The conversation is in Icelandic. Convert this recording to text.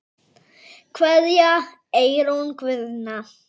Kveðja, Eyrún Guðna.